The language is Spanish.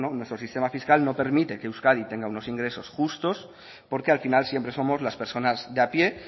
bueno nuestro sistema fiscal no permite que euskadi tenga unos ingresos justos porque al final siempre somos las personas de a pie